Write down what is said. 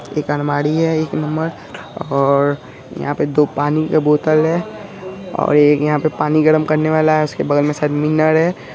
एक अलमारी है एक नंबर और यहा पे दो पानी के बोतल है और एक यहा पे एक पानी गरम करने वाला उसके बगल में है।